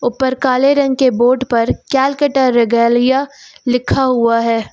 ऊपर काले रंग के बोर्ड पर केलकटा रेगैलिया लिखा हुआ है।